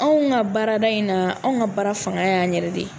Anw ka baarada in na anw ka baara fanga y'an yɛrɛ de ye